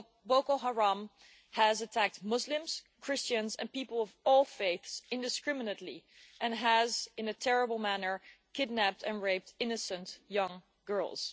Boko Haram has attacked Muslims, Christians and people of all faiths indiscriminately and, particularly terribly, has kidnapped and raped innocent young girls.